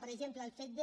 per exemple el fet de